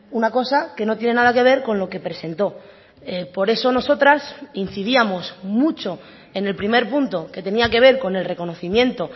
una cosa que no tiene nada que ver con lo que presentó por eso nosotras incidíamos mucho en el primer punto que tenía que ver con el reconocimiento